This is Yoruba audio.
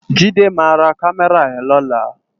Jide má rá Kàmèrá yèn lòlá